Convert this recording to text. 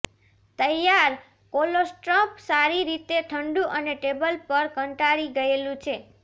તૈયાર કોલોસ્ટ્રમ સારી રીતે ઠંડુ અને ટેબલ પર કંટાળી ગયેલું છે